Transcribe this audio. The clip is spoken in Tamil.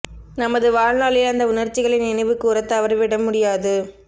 நமது வாழ்நாளில் அந்த உணர்ச்சிகளை நினைவு கூறத் தவறிவிட முடியாது